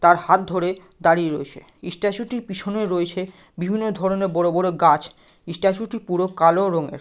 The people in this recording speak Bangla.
তার হাত ধরে দাঁড়িয়ে রয়েছে স্ট্যাচু টির পিছনে রয়েছে বিভিন্ন ধরণের বড়ো বড়ো গাছ স্ট্যাচু টি পুরো কালো রঙের ।